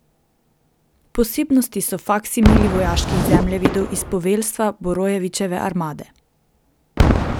Posebnost so faksimili vojaških zemljevidov iz poveljstva Borojevićeve armade.